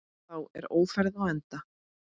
Þá er Ófærð á enda.